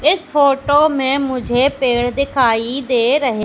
इस फोटो में मुझे पेड़ दिखाई दे रहे--